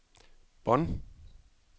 Bonn